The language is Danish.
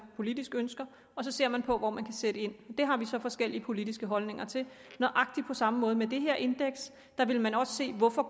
politisk ønsker og så ser man på hvor man kan sætte ind det har vi så forskellige politiske holdninger til nøjagtig på samme måde med det her indeks vil man også se hvorfor